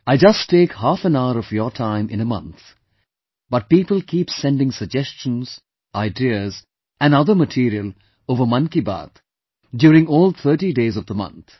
I just take half an hour of your time in a month but people keep sending suggestions, ideas and other material over Mann Ki Baat during all 30 days of the month